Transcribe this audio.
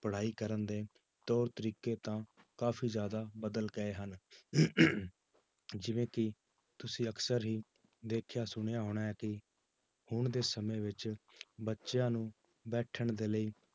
ਪੜ੍ਹਾਈ ਕਰਨ ਦੇ ਤੌਰ ਤਰੀਕੇ ਤਾਂ ਕਾਫ਼ੀ ਜ਼ਿਆਦਾ ਬਦਲ ਗਏ ਹਨ ਜਿਵੇਂ ਕਿ ਤੁਸੀਂ ਅਕਸਰ ਹੀ ਦੇਖਿਆ ਸੁਣਿਆ ਹੋਣਾ ਹੈ ਕਿ ਹੁਣ ਦੇ ਸਮੇਂ ਵਿੱਚ ਬੱਚਿਆਂ ਨੂੰ ਬੈਠਣ ਦੇ ਲਈ